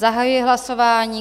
Zahajuji hlasování.